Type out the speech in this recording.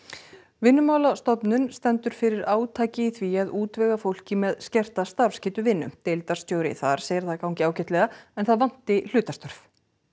Vinnumálastofnun stendur fyrir átaki í því að útvega fólki með skerta starfsgetu vinnu deildarstjóri þar segir það ganga ágætlega en það vanti hlutastörf